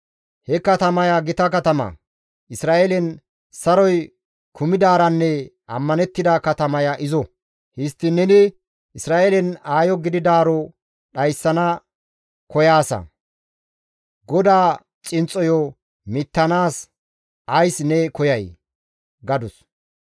He katamaya gita katama; Isra7eelen saroy kumidaaranne ammanettida katamaya izo; histtiin neni Isra7eelen aayo gididaaro dhayssana koyaasa. GODAA xinxxoyo mittanaas ays ne koyay?» gadus.